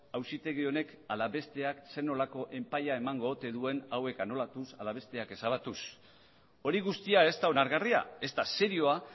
auzitegi honek ala besteak zer nolako epaia emango ote duen hauek anulatuz ala besteak ezabatuz hori guztia ez da onargarria ez da serioa